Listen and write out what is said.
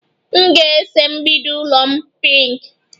M ga-ese mgbidi ụlọ m pinki